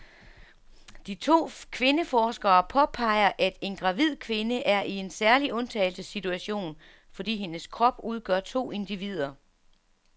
De to kvindeforskere påpeger, at en gravid kvinde er i en særlig undtagelsessituation, fordi hendes krop udgør to individer.